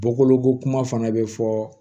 Bɔkoloko kuma fana bɛ fɔ